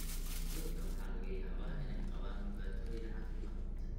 Dadka waxaa laga yaabaa inay qabaan dhibaatooyin caafimaad.